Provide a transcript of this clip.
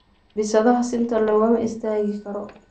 Bisadha senta lokama istakikaro.